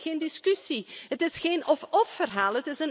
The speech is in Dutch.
Voor mij is dit geen discussie. Het is geen of of verhaal.